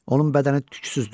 Onun bədəni tüklüzdür.